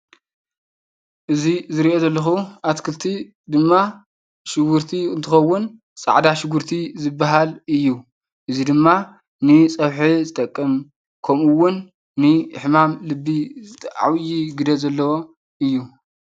ካብ ተክልታት ሓደ ዝኮነ ፃዕዳ ሽጉርቲ ዝተጨጨፈ ኣብ ሳሓኒ ኮይኑ፣ ደቂ ሰባት ንምግብነት ዝጥቀሙሉ ከም ኣብ ፀብሒን በርበረን ካልኦትን ዝኣቱ እንትከውን ንጥዕና ደቂ ሰባት ኣገዳስን ኣድላይን ካብ ዝባሃሉ ሓደ እዩ።